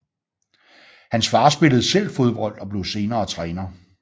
Hans far spillede selv fodbold og blev senere træner